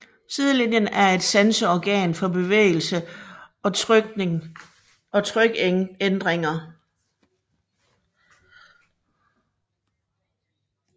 Sidelinjen er et sanseorgan for bevægelse og trykændringer